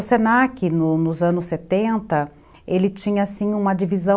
O senaque, nos anos setenta, ele tinha, sim, uma divisão...